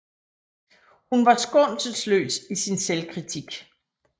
Hun var skånselsløs i sin selvkritik